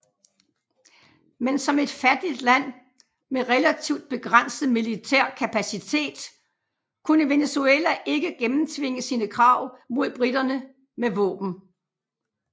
Men som et fattigt land med relativt begrænset militær kapacitet kunne Venezuela ikke gennemtvinge sine krav mod briterne med våben